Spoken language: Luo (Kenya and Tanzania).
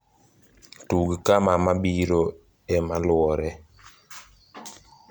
tug kama mabiro e maluoree